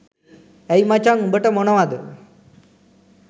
ඇයි මචන් උඹට මොනවද